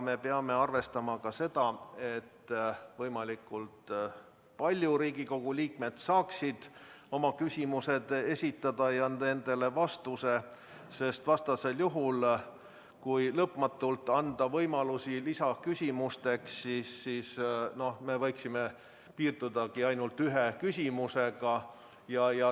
Me peame arvestama, et võimalikult paljud Riigikogu liikmed saaksid oma küsimused esitatud ja saaksid nendele vastuse, sest vastasel juhul, kui anda lõpmatult võimalusi lisaküsimuste esitamiseks, võiksimegi piirduda ainult ühe küsimusega.